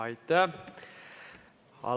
Aitäh!